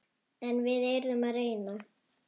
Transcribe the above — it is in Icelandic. En við yrðum að reyna.